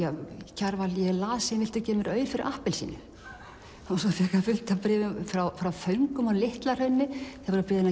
Kjarval ég er lasin viltu gefa mér aur fyrir appelsínu svo fékk hann fullt af bréfum frá föngum á Litla Hrauni sem voru að biðja hann